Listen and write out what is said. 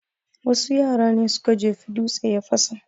Wasu yara ne suka jefa dutse ya fasa